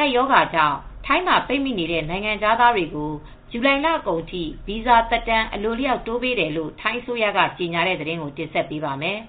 ကပ်ရောဂါကြောင့် ထိုင်းမှာ ပိတ်မိနေတဲ့ နိုင်ငံခြားသားတွေကို ဇူလှိုင်လကုန်အထိ ဗီဇာသက်တမ်း အလိုအလျောက်တိုးပေးတယ်လို့ ထိုင်းအစိုးရက ကြေညာတဲ့သတင်းကို ဗွီအိုအေ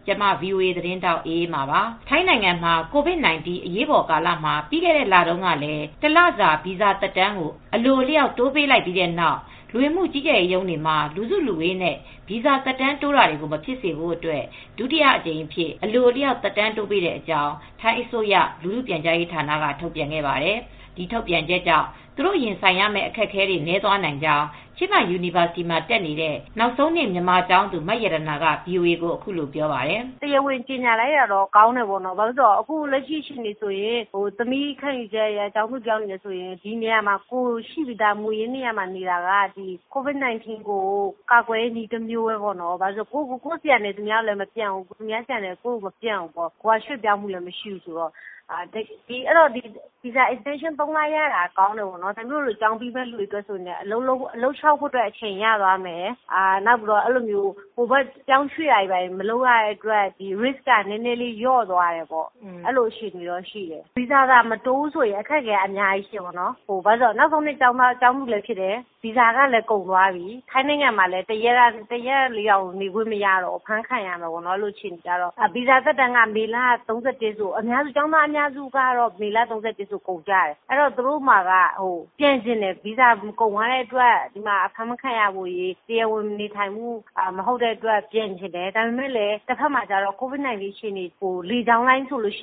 မြန်မာပိုင်းသတင်းထောက် မအေးအေးမာကို တင်ဆက်ပေးပါမယ်။ ထိုင်းနိုင်ငံမှာ COVID-19 အရေးပေါ်ကာလမှာ ပြီးခဲ့တဲ့လတုန်းကလည်း တလစာ ဗီဇာသက်တမ်းကို အလိုအလျောက်တိုးပေးလိုက်ပြီးတဲ့နောက် လူဝင်မူကြီးကြပ်ရေးရုံးတွေမှာ လူစုလူဝေးနဲ့ ဗီဇာသက်တမ်းတိုးတာတွေကို မဖြစ်စေဖို့အတွက် ဒုတိယအကြိမ်အဖြစ်အလိုအလျောက် သက်တမ်းတိုးပေးမဲ့အကြောင်း ထိုင်းအစိုးရလူထုပြန်ကြားရေးဌာနက ထုတ်ပြန်ခဲ့ပါတယ်။ ဒီထုတ်ပြန်ချက်ကြောင့် သူတို့ ရင်ဆိုင်ရမဲ့ အခက်အခဲတွေ နည်းသွားနိုင်ကြောင်း ချင်းမိုင်ယူနီဗာစတီမှာ တက်နေတဲ့ နောက်ဆုံးနှစ် မြန်မာကျောင်းသူ မရတနာက ဗွီအိုအေကို အခုလိုပြောပြပါတယ်။ "တရားဝင်ကြေငြာလိုက်တာ ကောင်းတယ်။ အခုလက်ရှိအခြေအနေဆိုရင် သမီးတို့ ကျောင်းသူတွေအနေနဲ့ ကိုယ်ရှိပြီးသား မူရင်းနေရာမှာနေတာက COVID-19 အတွက်ကာကွယ်နည်းတမျိုးပေါ့။ ကိုယ့်ဆီကလည်း သူများဆီကို ကူးစက်မှု မရှိဘူး။ သူများဆီကလည်း ကူးစက်မှု မရှိနိုင်ဘူး။ ရွှေ့ပြောင်းမှုလည်းမရှိဘူးဆိုတော့ အဲဒီတော့ဗီဇာသက်တမ်း ၃ လ တိုးရတာကောင်းတယ်ပေါ့နော်။ သမီးတို့လို ကျောင်းပြီးတော့မယ့်သူတွေအတွက် အလုပ်လျောက်ဖို့လည်း အချိန်ရမယ်။ ပြောင်းရွှေ့ရမှာ မဟုတ်တဲ့အတွက် Risk ကတော့ လျော့သွားတယ်။ ဗီဇာသက်တမ်း မတိုးပေးဘူးဆိုရင် ခက်ခဲမှု အရမ်းများမယ်။ နောက်ဆုံးနှစ်ကျောင်းသားတွေအနေနဲ့ ဗီဇာကုန်ပြီဆိုရင် တရက်မှနေလို့မရဘူး။ ဖမ်းခံရမယ်။ အဲဒီလိုအခြေအနေပေါ့ ကျောင်းသားအများစုက မေလ လကုန် ၃၁ ရက်မှာ ဗီဇာကုန်ကြမှာ ကျောင်းသားအများစုကလည်း ပြန်ချင်ကြတယ်။ တဘက်မှာကျတော့လည်း လေကြောင်းလိုင်းဆိုလည်း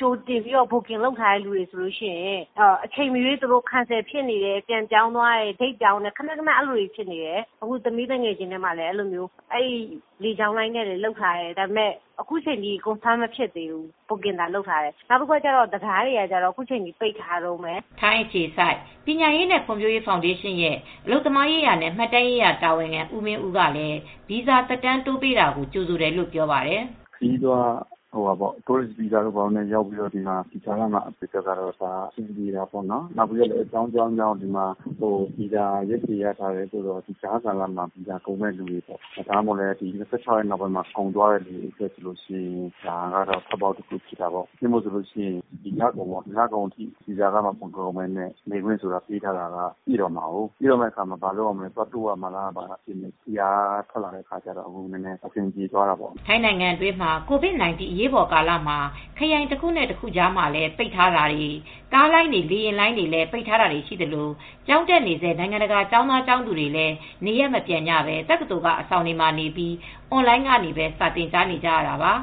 ကြိုတင်ဘွတ်ကင်လုပ်နေတဲ့သူတွေဆိုရင်လည်း လေကြောင်းလိုင်းက အချိန်မရွေးအမြဲတမ်း cancel ဖြစ်နေတယ်။ သမီးသူငယ်ချင်းတွေဆိုလည်း လေကြောင်းလိုင်းတွေ ဘွတ်ကင်လုပ်ပေမဲ့ အခုထိ မသေချာသေးဘူး နောက်ပြီး တံတားတွေကလည်း ပိတ်ထားတုန်းပဲ။" ထိုင်းအခြေစိုက်ပညာရေးနဲ့ ဖွံ့ဖြိုးရေးဖောင်ဒေးရှင်းရဲ့ အလုပ်သမားရေးရာနဲ့ မှတ်တမ်းရေးရာတာဝန်ခံ ဦးမင်းဦးကလည်း ဗီဇာသက်တမ်း တိုးပေးတာကို ကြိုဆိုတယ်လို့ ပြောပါတယ်။ "ခရီးသွားတွေ တိုးရစ်ဗီဇာတွေ ရထားသူတွေ အဆင်ပြေတာပေါ့နော်။ တချို့လည်းအကြောင်းကြောင်းနဲ့ ဗီဇာရက်ရှည်ရထားသူတွေ ကြားကာလမှာ ဗီဇာကုန်မဲ့သူတွေ ဒီလ ၂၆ ရက်မှာ ဗီဇာကုန်မဲ့သူတွေအတွက် ထွက်ပေါက်တခုဖြစ်တာပေါ့။ ဒီလကုန်မှာ ဗီဇာအတွက်ကုန်ကျစရာမလိုဘဲ ပေးထားတာကိုး ဒီအတွက်သက်တမ်းထပ်တိုးရမလား၊ ဘာလားပေါ့။ ဒီစာထွက်လာတော့ အဆင်ပြေသွားတာပေါ့။" ထိုင်းနိုင်ငံမှာ COVID-19 အရေးပေါ်ကာလမှာ ခရိုင်တခုနဲ့ တခုလည်း ပိတ်ထားတာတွေ ကားလိုင်းတွေ၊ လေယာဉ်လိုင်းတွေလည်း ပိတ်ထားတာတွေ ရှိသလို ကျောင်းတက်နေဆဲနိုင်ငံတကာက ကျောင်းသား၊ ကျောင်းသူတွေလည်း နေရပ်မပြန်ကြဘဲ တက္ကသိုလ်က အဆောင်တွေမှာနေပြီး အွန်လိုင်းကနေပဲ စာသင်ကြားနေရတာပါ